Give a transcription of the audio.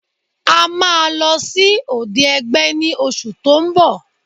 A máa lọ sí òde ẹgbẹ́ ní oṣù tó ń bọ̀